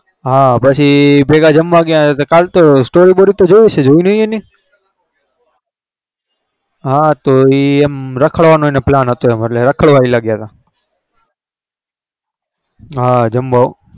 હા પછી ભેગા જમવા ગયા કળતો story બોરી જોઈ નઈ એની રખડવા નો plan હાથો રખડવ લાગ્યા તા